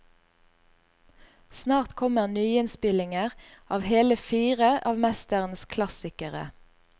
Snart kommer nyinnspillinger av hele fire av mesterens klassikere.